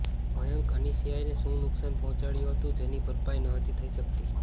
મયંકે અનિશિયાને શું નુકશાન પહોંચાડ્યુ હતુ જની ભરપાઈ નહોતી થઈ શકતી